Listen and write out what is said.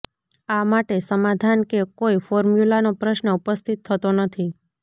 આ માટે સમાધાન કે કોઈ ફોર્મ્યુલાનો પ્રશ્ન ઉપસ્થિત થતો નથી